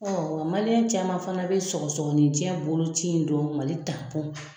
nga caman fana bɛ sɔgɔsɔgɔninjɛ boloci in dɔn mali .